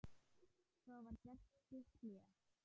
Svo var gert stutt hlé.